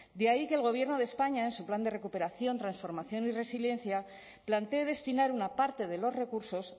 de ahí que el gobierno de españa en su plan de recuperación transformación y resiliencia plantee destinar una parte de los recursos